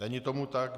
Není tomu tak.